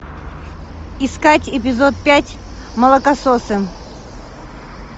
искать эпизод пять молокососы